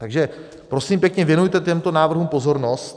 Takže prosím pěkně, věnujte těmto návrhům pozornost.